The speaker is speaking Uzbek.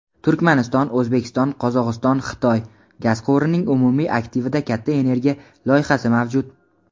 "Turkmaniston–O‘zbekiston–Qozog‘iston–Xitoy" gaz quvurining umumiy aktivida katta energiya loyihasi mavjud.